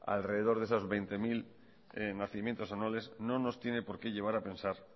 alrededor de esos veinte mil nacimientos anuales no nos tiene por qué llevar a pensar